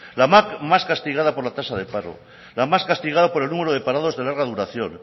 la más castigada por la tasa de paro la más castigada por el número de parados de larga duración